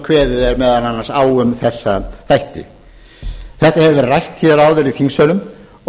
kveðið er meðal annars á um þessa þætti þetta hefur verið rætt hér áður í þingsölum